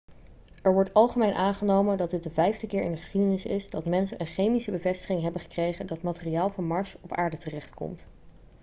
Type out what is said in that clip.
er wordt algemeen aangenomen dat dit de vijfde keer in de geschiedenis is dat mensen een chemische bevestiging hebben gekregen dat materiaal van mars op aarde terechtkomt